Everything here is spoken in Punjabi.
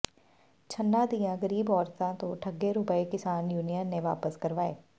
ਛੰਨਾਂ ਦੀਆਂ ਗ਼ਰੀਬ ਔਰਤਾਂ ਤੋਂ ਠੱਗੇ ਰੁਪਏ ਕਿਸਾਨ ਯੂਨੀਅਨ ਨੇ ਵਾਪਸ ਕਰਵਾਏ